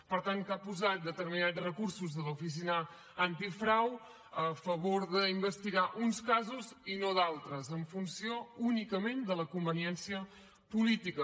per tant que ha posat determinats recursos de l’oficina antifrau a favor d’investigar uns casos i no d’altres en funció únicament de la conveniència política